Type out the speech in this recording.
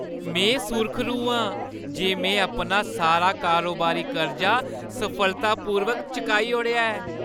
में सुर्खरू आं जे में अपना सारा कारोबारी कर्जा सफलतापूर्वक चुकाई ओड़ेआ ऐ।